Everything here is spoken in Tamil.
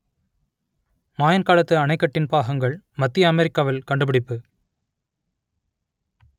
மாயன் காலத்து அணைக்கட்டின் பாகங்கள் மத்திய அமெரிக்காவில் கண்டுபிடிப்பு